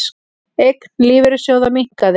Eign lífeyrissjóða minnkaði